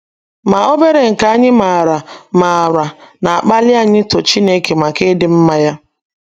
Ma obere nke anyị maara maara na - akpali anyị ito Chineke maka ịdị mma ya.